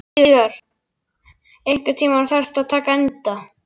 Víðar, einhvern tímann þarf allt að taka enda.